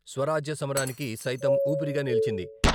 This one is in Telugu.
స్వరాజ్య సమరానికి సైతం ఊపిరిగా నిలిచింది.